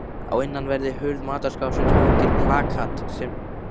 Á innanverðri hurð matarskápsins hangir plakat sem